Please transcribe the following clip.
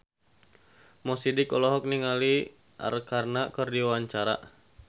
Mo Sidik olohok ningali Arkarna keur diwawancara